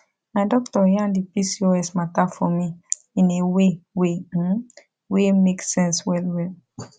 my doctor yan the pcos matter for me in a way way um wey make sense well well